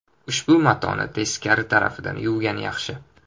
Ushbu matoni teskari tarafidan yuvgan yaxshi.